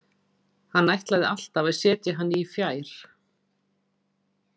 Hann ætlaði alltaf að setja hann í fjær.